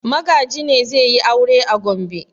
Magaji ne zai yi aure a Gombe?